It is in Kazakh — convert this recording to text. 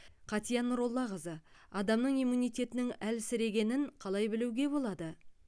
қатия нұроллақызы адамның иммунитетінің әлсірегенін қалай білуге болады